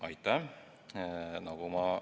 Aitäh!